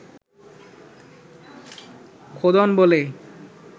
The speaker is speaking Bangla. খোদন বলে